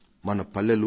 మన పల్లెలు